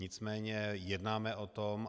Nicméně jednáme o tom.